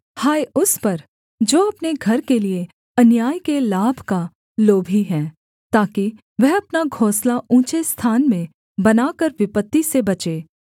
हाय उस पर जो अपने घर के लिये अन्याय के लाभ का लोभी है ताकि वह अपना घोंसला ऊँचे स्थान में बनाकर विपत्ति से बचे